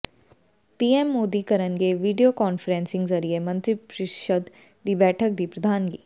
PM Modi ਕਰਨਗੇ video conferencing ਜ਼ਰੀਏ ਮੰਤਰੀ ਪ੍ਰੀਸ਼ਦ ਦੀ ਬੈਠਕ ਦੀ ਪ੍ਰਧਾਨਗੀ